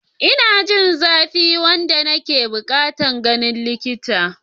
Ina jin zafi wanda nake buƙatar ganin likita.